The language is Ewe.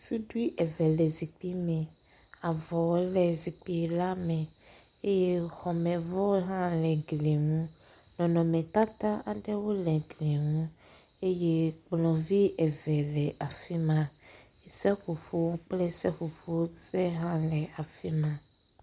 Suɖui eve le zikpi me. Avɔ le zikpi la me eye xɔme vɔ hã le gli nu. Nɔnɔmetata aɖewo le gli nu eye kplɔ vi eve le afi ma. Seƒoƒo kple seƒoƒo se hã le afi ma.